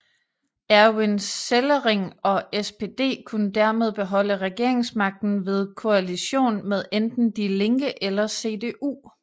Erwin Sellering og SPD kunne dermed beholde regeringsmagten ved koalition med enten Die Linke eller CDU